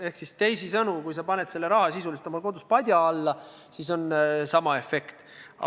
Ehk siis teisisõnu: kui sa paned selle raha sisuliselt oma kodus padja alla, siis on sama efekt.